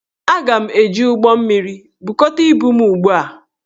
Aga m eji ụgbọmmiri, bukọta ibu m ugbu a!